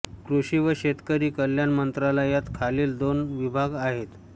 कृषी व शेतकरी कल्याण मंत्रालयात खालील दोन विभाग आहेत